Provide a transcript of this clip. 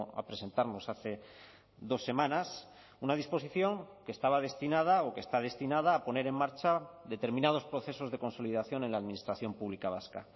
a presentarnos hace dos semanas una disposición que estaba destinada o que está destinada a poner en marcha determinados procesos de consolidación en la administración pública vasca